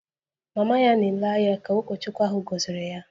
Mama ya na-ele anya ka ụkọchukwu ahụ gọziri ya